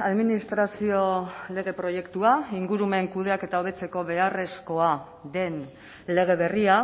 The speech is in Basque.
administrazio lege proiektua ingurumen kudeaketa hobetzeko beharrezkoa den lege berria